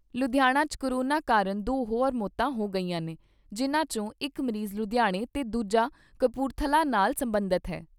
ਲੁਧਿਆਣਾ 'ਚ ਕੋਰੋਨਾ ਕਾਰਨ ਦੋ ਹੋਰ ਮੌਤਾਂ ਹੋ ਗਈਆਂ ਨੇ, ਜਿਨ੍ਹਾਂ ਚੋਂ ਇਕ ਮਰੀਜ ਲੁਧਿਆਣਾ ਤੇ ਦੂਜਾ ਕਪੂਰਥਲਾ ਨਾਲ ਸਬੰਧਤ ਏ।